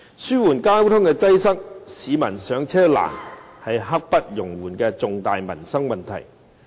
紓緩交通擠塞，解決市民上車困難，是刻不容緩的重大民生問題。